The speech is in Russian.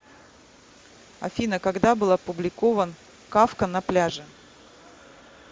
афина когда был опубликован кафка на пляже